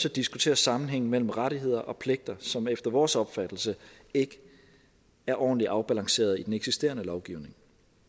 at diskutere sammenhængen mellem rettigheder og pligter som efter vores opfattelse ikke er ordentligt afbalanceret i den eksisterende lovgivning